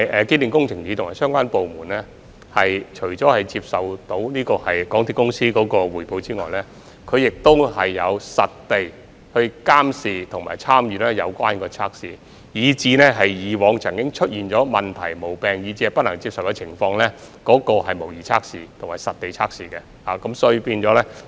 機電署及相關部門除接受港鐵公司的匯報外，亦會實地監視及參與有關測試，也會參與重構以往曾出現問題、毛病，以及一些不能接受的情況的模擬測試及實地測試。